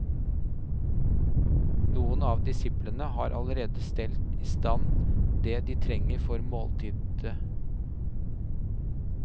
Noen av disiplene har allerede stelt i stand det de trenger for måltidet.